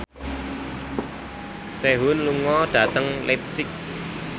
Sehun lunga dhateng leipzig